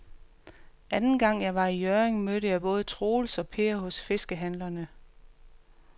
Anden gang jeg var i Hjørring, mødte jeg både Troels og Per hos fiskehandlerne.